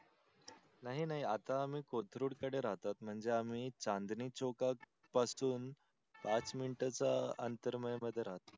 नाही नाही आता आम्ही कोथरूड कडे राहतो म्हणजेआम्ही चांदणी चौक पासून पाच मिनिट च्या अंतर मध्ये राहतो.